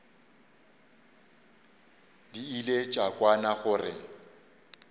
di ile tša kwana gore